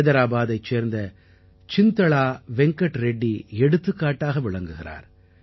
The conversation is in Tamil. ஹைதராபாத்தைச் சேர்ந்த சிந்தளா வெங்கட் ரெட்டி எடுத்துக்காட்டாக விளங்குகிறார்